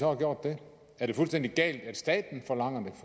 har gjort det er det fuldstændig galt at staten forlanger